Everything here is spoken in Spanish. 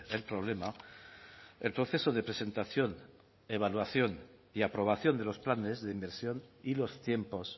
el problema el proceso de presentación evaluación y aprobación de los planes de inversión y los tiempos